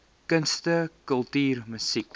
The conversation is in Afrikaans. kunste kultuur musiek